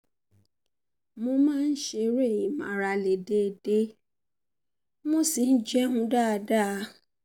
mo máa ń ṣeré ìmárale déédéé mo sì um ń um um jẹun um dáadáa